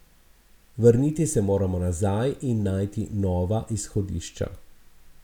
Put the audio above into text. Vrniti se moramo nazaj in najti nova izhodišča.